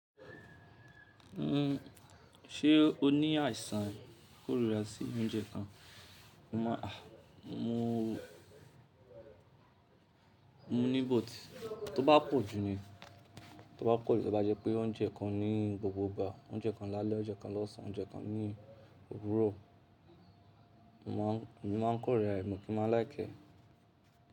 Uhm, ṣé o ní àìsàn kórira sí oúnjẹ kan? Mo máa-- à, mo, mo ní but, Tó bá pọ̀ jù ni, tó bá pọ̀ ju tó bá jẹ́ pé oúnjẹ kan ní gbogbo ìgbà, oúnjẹ kan lálẹ́, oúnjẹ kan lọ́sàn oúnjẹ kan ní òwúrọ̀. Emi máa ń kórira ẹ̀, mo kì má like e.